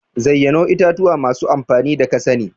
zayyano itatuwa masu amfani da kasani.